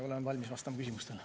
Olen valmis vastama küsimustele.